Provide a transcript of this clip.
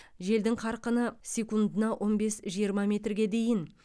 желдің қарқыны секундына он бес жиырма метрге дейін